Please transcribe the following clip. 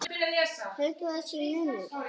Haldið að sé munur!